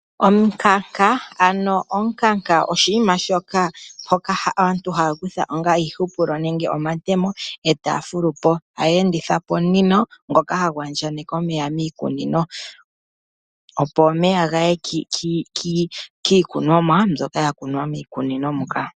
Omukanka. Omukanka oshinima shoka aantu haya kutha onga iihupulo nenge omatemo etaya fulupo etaya endithapo omunino ngoka hagu andjaganeke miikunino opo omeya ga ye kiikunomwa mbyoka yakunwa miikunino moka.